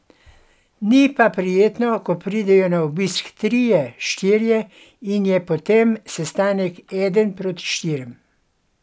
Ni pa prijetno, ko pridejo na obisk trije, štirje, in je potem sestanek eden proti štirim.